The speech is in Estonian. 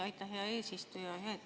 Aitäh, hea eesistuja!